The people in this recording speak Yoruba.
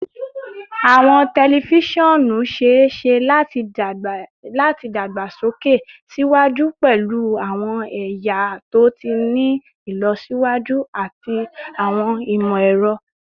Awọn tẹlifisiọnu ṣee ṣe lati dagbasoke siwaju pẹlu awọn ẹya to ti ni ilọsiwaju ati awọn imọ-ẹrọ